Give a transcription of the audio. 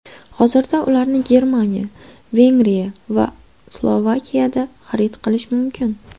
Hozirda ularni Germaniya, Vengriya va Slovakiyada xarid qilish mumkin.